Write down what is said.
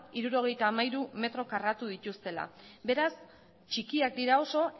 hirurogeita hamairu metro karratua dituztela beraz txikiak dira oso